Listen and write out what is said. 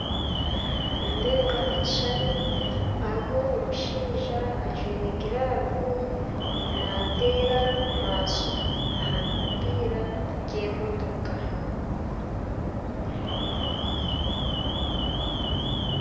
Nindeeba ekishushani haruho omushaija ajwaire glove nateera maaso ahabipiira by'emotoka